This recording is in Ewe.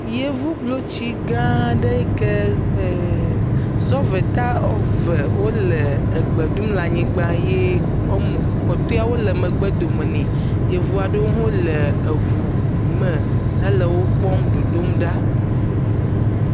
Yevublotsi gã aɖee yi kee e sɔveda eve wole egbe ɖum le anyigba ye wɔme kpɔtɔewo le megbe dome nɛ. Yevu aɖewo hã le ŋu me hele wo kpɔm dodomɖa.